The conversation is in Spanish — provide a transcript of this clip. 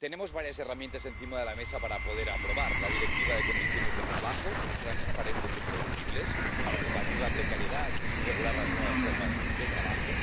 Tenemos varias herramientas encima de la mesa para poder aprobar la Directiva sobre condiciones de trabajo transparentes y predecibles, para combatir la precariedad y regular las nuevas formas de trabajo